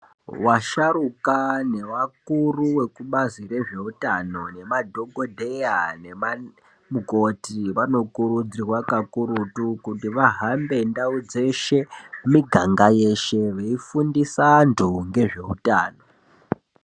Washaruka newakuru vekubazi rezveutano nemadhokodheya nemamukoti vanokurudzirwa kakurutu kuti vahambe ndau nemiganga yeshe veifundisa antu nezveutano .